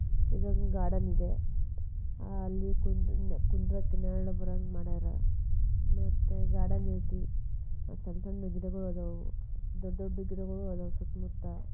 ಇನ್ನೊಂದು ಗಾರ್ಡನ್ ಇದೆ ಅಲ್ ಕುಂದ್ರಕ್ಲ್ ನೆಲ್ಲ ಬರಂಗ್ ಮಾಡ್ಯಾರ್ ಮತ್ತ ಗಾರ್ಡನ್ ಇದೆ ಸಣ್ಣ ಸಣ್ಣ ಗಿಡಗಳು ಇದಾವು ದೊಡ್ಡ ದೊಡ್ಡ ಗಿಡಗಳು ಇದಾವು ಸುತ್ತಮುತ್ತ.